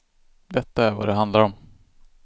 Detta är vad det handlar om.